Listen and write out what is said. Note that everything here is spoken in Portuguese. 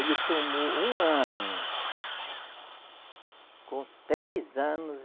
Ele tomou um ano, com três anos,